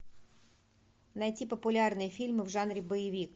найти популярные фильмы в жанре боевик